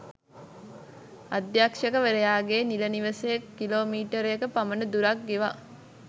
අධ්‍යක්ෂකවරයාගේ නිල නිවසේ කිලෝමීටරයක පමණ දුරක් ගෙවා